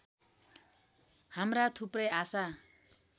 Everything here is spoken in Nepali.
हाम्रा थुप्रै आशा